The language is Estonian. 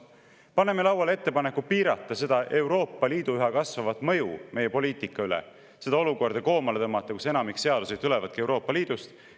Paneme lauale ettepaneku piirata Euroopa Liidu üha kasvavat mõju meie poliitika üle, tõmmata koomale seda olukorda, kus enamik seadusi tulebki Euroopa Liidust.